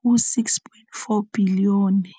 ho 6.4 bilione.